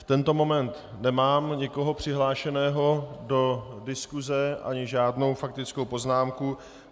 V tento moment nemám nikoho přihlášeného do diskuse ani žádnou faktickou poznámku.